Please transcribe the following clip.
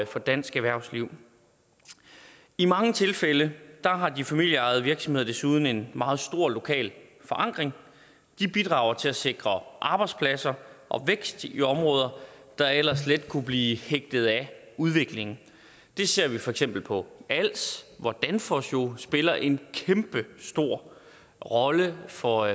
for dansk erhvervsliv i mange tilfælde har de familieejede virksomheder desuden en meget stor lokal forankring de bidrager til at sikre arbejdspladser og vækst i områder der ellers let kunne blive hægtet af udviklingen det ser vi for eksempel på als hvor danfoss jo spiller en kæmpe stor rolle for